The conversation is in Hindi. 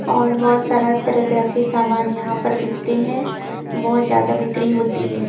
और बहुत सारा तरह-तरह के सामान यहां पर बिकते हैं बहुत ज्यादा बिक्री होती है।